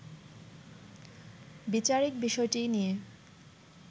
বিচারিক বিষয়টি নিয়ে